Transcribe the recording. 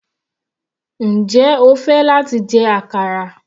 Njẹ́ o fẹ́ láti jẹ àkàrà?